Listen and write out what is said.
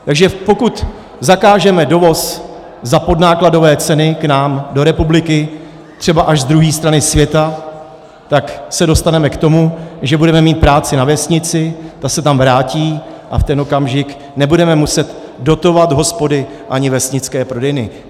Takže pokud zakážeme dovoz za podnákladové ceny k nám do republiky třeba až z druhé strany světa, tak se dostaneme k tomu, že budeme mít práci na vesnici, ta se tam vrátí, a v ten okamžik nebudeme muset dotovat hospody ani vesnické prodejny.